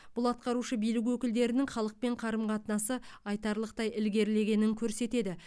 бұл атқарушы билік өкілдерінің халықпен қарым қатынасы айтарлықтай ілгерілегенін көрсетеді